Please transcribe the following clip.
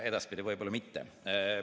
Edaspidi võib-olla mitte.